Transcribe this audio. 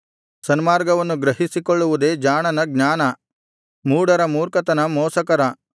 ಸನ್ಮಾರ್ಗವನ್ನು ಗ್ರಹಿಸಿಕೊಳ್ಳುವುದೇ ಜಾಣನ ಜ್ಞಾನ ಮೂಢರ ಮೂರ್ಖತನ ಮೋಸಕರ